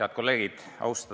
Head kolleegid!